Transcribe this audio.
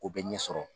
O bɛ ɲɛ sɔrɔ